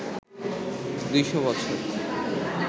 ২০০ বছর